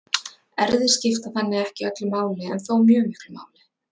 erfðir skipta þannig ekki öllu máli en þó mjög miklu máli